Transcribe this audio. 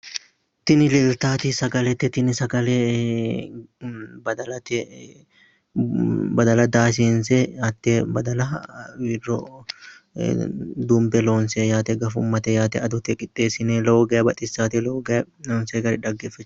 Tini leeltaati sagalete. tini sagale badalate, badala daahisiinse hattee badala wirro dumbe loonse gafummate yaate ledo qixxeessine lowo geeshsha baxissaate loonsoyi gari lowo geya xaggete.